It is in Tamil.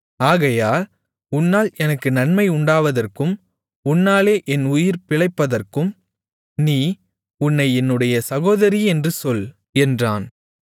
ஆகையால் உன்னால் எனக்கு நன்மை உண்டாவதற்கும் உன்னாலே என் உயிர் பிழைப்பதற்கும் நீ உன்னை என்னுடைய சகோதரி என்று சொல் என்றான்